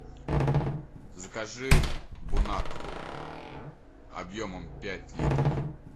закажи бонакву объемом пять литров